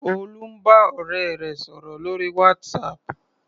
Olú ń bá ọ̀rẹ́ rẹ̀ sọ̀rò lórí WhatsApp.